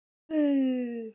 Aldrei efi.